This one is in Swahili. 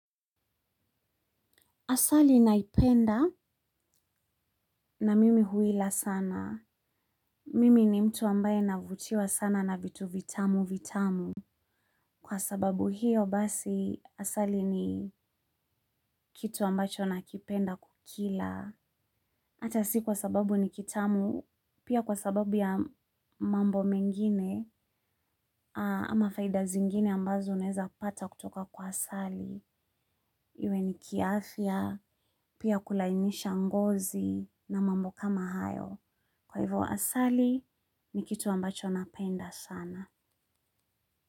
Asali naipenda na mimi huila sana. Mimi ni mtu ambaye navutiwa sana na vitu vitamu vitamu. Kwa sababu hiyo basi asali ni kitu ambacho nakipenda kukila. Ata si kwa sababu ni kitamu pia kwa sababu ya mambo mengine ama faida zingine ambazo uneza pata kutoka kwa asali. Iwe ni kiafya pia kulainisha ngozi na mambo kama hayo. Kwa hivyo asali ni kitu ambacho napenda sana.